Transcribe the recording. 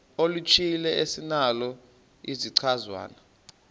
oluthile esinalo isichazwa